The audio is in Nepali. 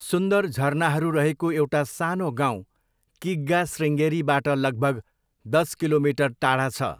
सुन्दर झरनाहरू रहेको एउटा सानो गाउँ किग्गा शृङ्गेरीबाट लगभग दस किलोमिटर टाढा छ।